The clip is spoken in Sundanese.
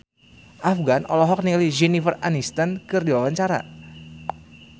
Afgan olohok ningali Jennifer Aniston keur diwawancara